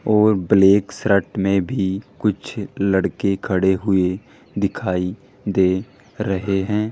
और black shirt में भी कुछ लड़के खड़े हुए दिखाई दे रहे हैं।